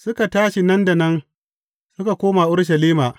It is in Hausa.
Suka tashi nan da nan suka koma Urushalima.